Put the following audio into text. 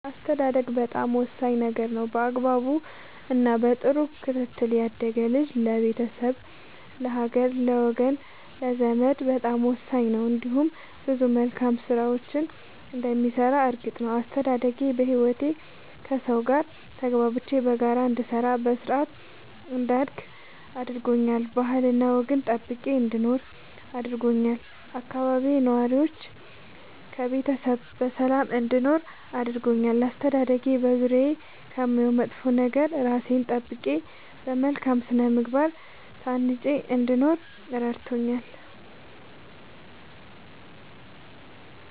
አስተዳደግ በጣም ወሳኝ ነገር ነው በአግባቡ እና በጥሩ ክትትል ያደገ ልጅ ለቤተሰብ ለሀገር ለወገን ለዘመድ በጣም ወሳኝ ነው እንዲሁም ብዙ መልካም ስራዎችን እንደሚሰራ እርግጥ ነው። አስተዳደጌ በህይወቴ ከሠው ጋር ተግባብቼ በጋራ እንድሰራ በስርአት እንዳድግ አድርጎኛል ባህልና ወግን ጠብቄ እንድኖር አድርጎኛል ከአካባቢዬ ነዋሪዎች ከቤተሰብ በሰላም እንድኖር አድርጎኛል። አስተዳደጌ በዙሪያዬ ከማየው መጥፎ ነገር እራሴን ጠብቄ በመልካም ስነ ምግባር ታንጬ እንድኖር እረድቶኛል።